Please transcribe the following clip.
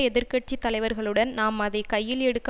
எதிர்கட்சி தலைவர்களுடன் தாம் அதை கையில் எடுக்க